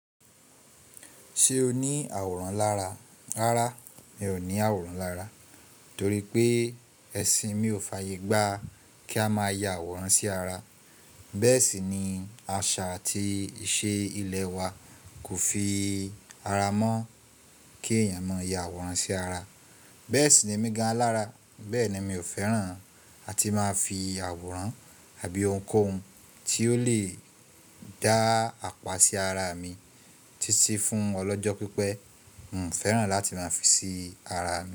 Ṣé o ní àwòrán lára? Rárá, mi ò ní àwòrán lára torí pé ẹ̀sìn mi ò fàyègbà kí a máa ya àwòrán sí ara. Bẹ́ẹ̀ sì ni àṣà àti ìṣe ilẹ̀ wa kò fi ara mọ́ kí èèyàn máa ya àwòrán sí ara. Bẹ́ẹ̀ sì ni èmi gan alára bẹ́ẹ̀ni míò fẹ́ràn àti má fi àwòrán àbí ohunkóhun tí ó lè dá àpá sí ara mi títí fún ọlọ́jọ́ pípẹ́. Mi fẹ́ràn láti máa fi sí ara mi.